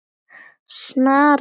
Snaran í sundur.